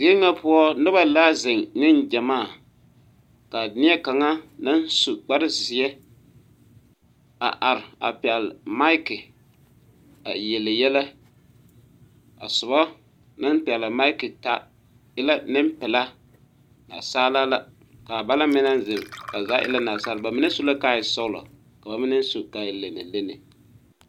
Deri nga puo nuba la zeng ning jamaa ka neɛ kanga nang su kpare zie a arẽ a pɛgli miki a yeli yele a suba nang pɛgli miki taa e la ninpelaa naasaalaa la ka bang na meng nan zeng ba zaa ee naasaaliba ba mene suɛ buma ka a e sɔglo ka ba mene su ka a e lenee lenee.